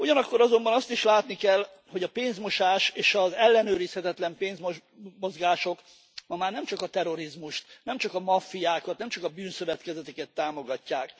Ugyanakkor azonban azt is látni kell, hogy a pénzmosás és az ellenőrizhetetlen pénzmozgások ma már nem csak a terrorizmust, nem csak a maffiákat, nem csak a bűnszövetkezeteket támogatják.